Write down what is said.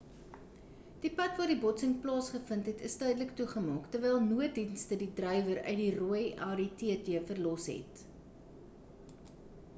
die pad waar die botsing plaasgevind het is tydelik toegemaak terwyl nooddienste die drywer uit die rooi audi tt verlos het